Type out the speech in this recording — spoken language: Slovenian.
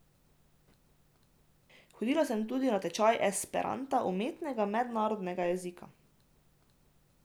Hodila sem tudi na tečaj esperanta, umetnega mednarodnega jezika.